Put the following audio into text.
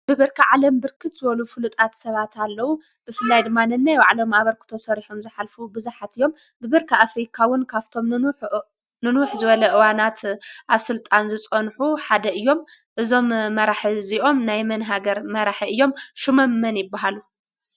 ብብርኪ ዓለም ብርክት ዝበሉ ፍሉጣት ሰባት ኣለዉ፡፡ ብፍላይ ድማ ነናይ ብዕሎም ኣበርክቶ ሰሪሖም ዝኃልፉ ብዙኃት እዮም፡፡ ብብርኪ ኣፍሪካ ውን ካብቶም ንንውሕ ዝበለ እዋናት ኣብ ሥልጣን ዝጸንሑ ሓደ እዮም፡፡ እዞም መራሒ እዚኦም ናይ መን ሃገር መራሒ እዮም? ሹሞም መን ይብሃሉ?